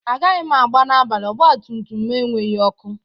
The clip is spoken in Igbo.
Agaghị m agba n'abalị, ọgba m tum tum enweghị ọkụ.